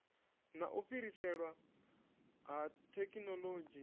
na u fhiriselwa ha thekhinolodzhi